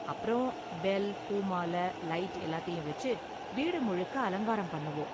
அப்பறம் பெல், பூ மாலை, லைட் எல்லாத்தையும் வெச்சு வீடு முழுக்க அலங்காரம் பண்ணுவோம்.